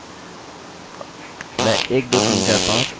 मानिए कि हमें यह बनाना है और लिखना है